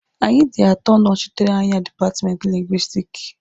Anyị dị atọ nọchitere anya dipatmenti Lingwisitiki.